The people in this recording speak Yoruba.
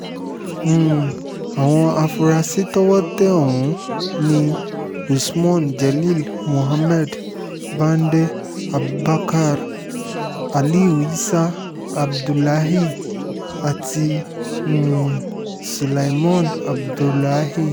um àwọn afuarasí to̩wó̩ tẹ ò̩hún ni usman jelil muhammed bande abubakar aliu isah abdullahi àti um sülaiman abdulahi